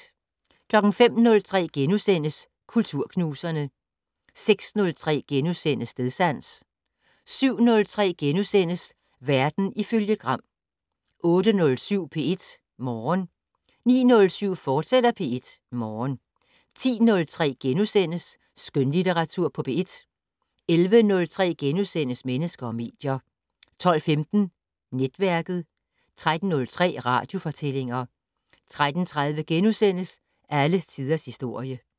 05:03: Kulturknuserne * 06:03: Stedsans * 07:03: Verden ifølge Gram * 08:07: P1 Morgen 09:07: P1 Morgen, fortsat 10:03: Skønlitteratur på P1 * 11:03: Mennesker og medier * 12:15: Netværket 13:03: Radiofortællinger 13:30: Alle tiders historie *